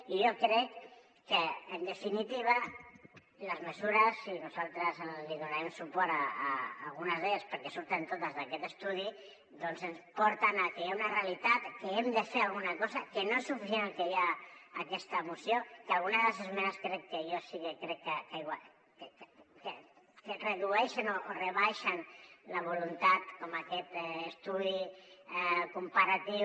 i jo crec que en definitiva les mesures i nosaltres donarem suport a algunes d’elles perquè surten totes d’aquest estudi doncs ens porten a que hi ha una realitat que hi hem de fer alguna cosa que no és suficient el que hi ha en aquesta moció que alguna de les esmenes jo sí que crec que redueixen o rebaixen la voluntat com aquest estudi comparatiu